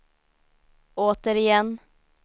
återigen